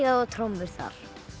á trommur þar